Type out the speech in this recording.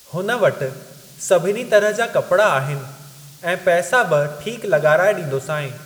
हुन वटि सभिनी तरह जा कपड़ा आहिनि ऐं पैसा बि ठीक लॻाराए ॾींदोसांइ।